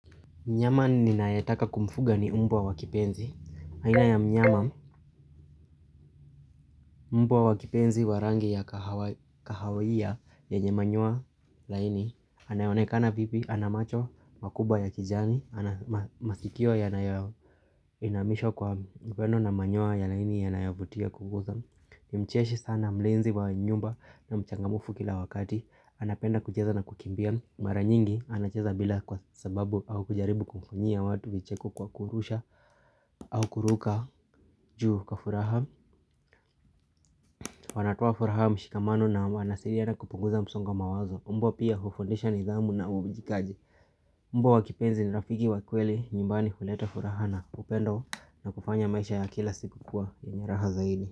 Mnyama ninayetaka kumfuga ni mbwa wa kipenzi. Aina ya mnyama, mbwa wa kipenzi wa rangi ya kahawia yanye manyoya laini. Anayenekana pipi, ana mach, makubwa ya kijani, masikio yanayoinamishwa kwa mkono na manyoya lakini yanayovutia kubwa sana. Ni mcheshi sana mlinzi wa nyumba na mchangamfu kila wakati. Anapenda kucheza na kukimbia. Mara nyingi anacheza bila kwa sababu au kujaribu kukunyia watu vicheko kwa kurusha au kuruka juu kwa furaha Wanatoa furaha mshikamano na wanasaidiana kupunguza msonga mawazo Mbwa pia hufundisha nidhamu na uwajibikaji Mbwa wakipenzi ni rafiki wakweli nyumbani huleta furaha na upendo na kufanya maisha ya kila siku kua yenye raha zaidi.